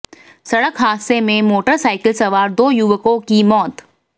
सड़क हादसे में मोटरसाइकिल सवार दो युवकों की मौत